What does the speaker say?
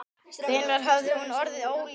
Hvenær hafði hún orðið ólétt?